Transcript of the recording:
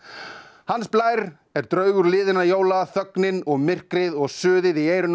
hans Blær er draugur liðinna jóla þögnin og myrkrið og suðið í eyrunum